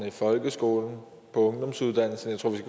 i folkeskolen på ungdomsuddannelserne